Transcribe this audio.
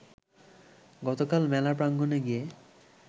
গতকাল মেলা প্রাঙ্গণে গিয়ে